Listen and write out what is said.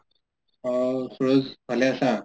অ সূৰজ ভালে আছা?